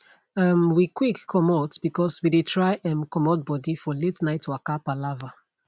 um we quick comot because we dey try um comot body for late night waka palava